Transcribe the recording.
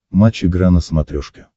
матч игра на смотрешке